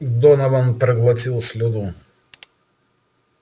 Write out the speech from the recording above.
донован проглотил слюну